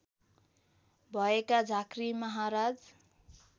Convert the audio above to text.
भएका झाँक्री महाराज